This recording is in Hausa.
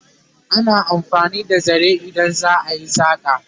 ana amfani da zare idan za'a yi saƙa